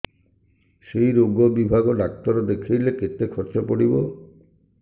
ସେଇ ରୋଗ ବିଭାଗ ଡ଼ାକ୍ତର ଦେଖେଇଲେ କେତେ ଖର୍ଚ୍ଚ ପଡିବ